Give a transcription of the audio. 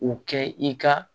U kɛ i ka